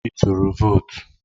Ị turu votu?